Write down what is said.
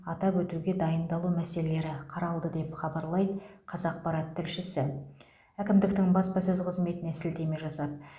атап өтуге дайындалу мәселелері қаралды деп хабарлайды қазақпарат тілшісі әкімдіктің баспасөз қызметіне сілтеме жасап